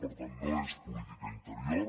per tant no és política interior